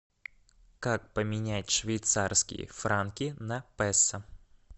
как поменять швейцарские франки на пессо